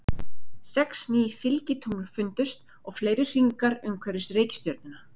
Sex ný fylgitungl fundust og fleiri hringar umhverfis reikistjörnuna.